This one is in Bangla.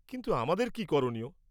কিন্তু, আমাদের কী করণীয়?